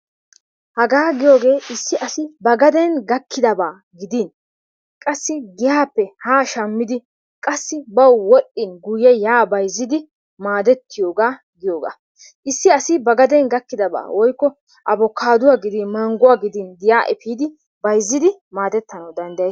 Hagaa giyogee issi asi ba gaden gakkidabaa gidin qassi giyaappe haa shammidi qassi bawu wodhdhin guyye yaa bayzzidi maadettiyogaa goyogaa. Issi asi ba gaden gakkidabaa woykko abokaadduwa gidin mangguwa gidin giyaa efiidi bayzzidi maadettanawu dandd....